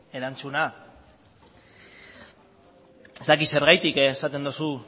erantzuna ez dakit zergatik esaten duzun